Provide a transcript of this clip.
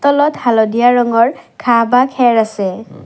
তলত হালধীয়া ৰঙৰ ঘাঁহ বা খেৰ আছে।